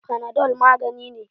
Fanadol magani ne.